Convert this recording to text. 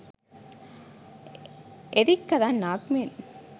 Eric කරන්නාක් මෙන්